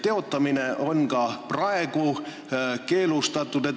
Teotamine on ka praegu keelustatud.